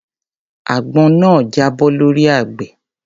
Àgbọn náà jábọ́ lọ́rí àgbẹ̀.